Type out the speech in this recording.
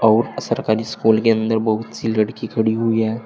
और सरकारी स्कूल के अंदर बहुत सी लड़की खड़ी हुई हैं।